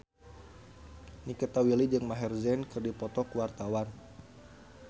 Nikita Willy jeung Maher Zein keur dipoto ku wartawan